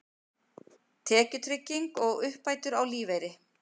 Tekjutrygging og uppbætur á lífeyri.